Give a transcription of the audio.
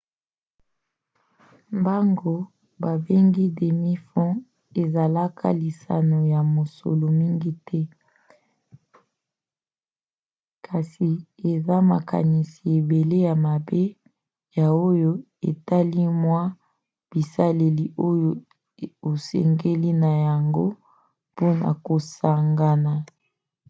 mbango babengi demi-fond ezalaka lisano ya mosolo mingi te; kasi eza na makanisi ebele ya mabe na oyo etali mwa bisaleli oyo osengeli na yango mpona kosangana